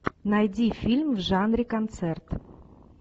найди фильм в жанре концерт